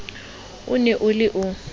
o ne o le o